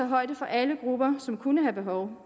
højde for alle grupper som kunne have behov